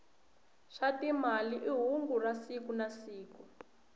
swa timali i hungu ra siku nasiku